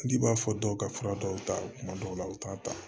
N'i b'a fɔ dɔw ka fura dɔw ta tuma dɔw la u t'a ta